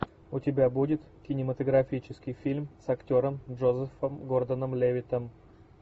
у тебя будет кинематографический фильм с актером джозефом гордоном левиттом